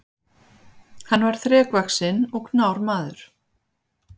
Hann var þrekvaxinn og knár maður.